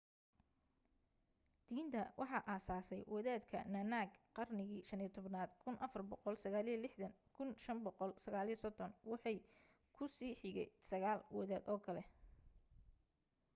diinta waxa asaasay wadaadka nanak qarnigii 15aad 1469-1539. waxa ku sii xigay sagaal wadaad oo kale